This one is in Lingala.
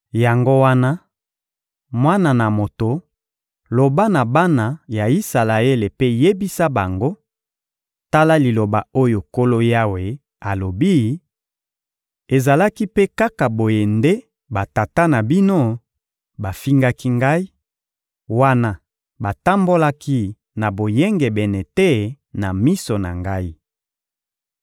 Yango wana, mwana na moto, loba na bana ya Isalaele mpe yebisa bango: ‹Tala liloba oyo Nkolo Yawe alobi: Ezalaki mpe kaka boye nde batata na bino bafingaki Ngai, wana batambolaki na boyengebene te na miso na Ngai.